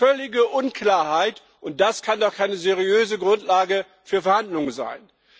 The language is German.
Völlige Unklarheit, und das kann doch keine seriöse Grundlage für Verhandlungen sein!